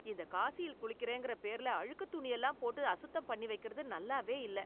இந்த காசியில் குளிக்கிறேங்கிற பேர்ல அழுக்குத் துணி எல்லாம் போட்டு அசுத்தம் பண்ணி வைக்கிறது நல்லாவே இல்லை